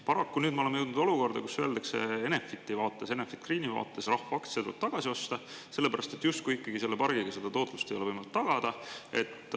Paraku nüüd me oleme jõudnud olukorda, kus öeldakse Enefiti vaates, Enefit Greeni vaates, et rahvaaktsia tuleb tagasi osta, sellepärast et justkui ikkagi selle pargiga seda taotlust ei ole võimalik tagada.